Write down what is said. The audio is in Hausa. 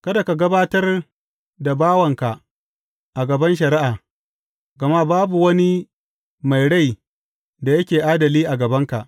Kada ka gabatar da bawanka a gaban shari’a, gama babu wani mai rai da yake adali a gabanka.